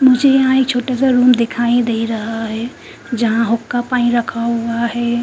मुझे यहां एक छोटा सा रूम दिखाई दे रहा है जहां हुक्का पानी रखा हुआ है।